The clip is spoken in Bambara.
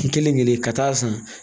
Kelen ɲini ka taa'a san